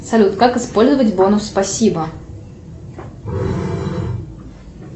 салют как использовать бонус спасибо